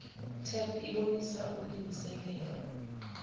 tep ibonisa ilungiselele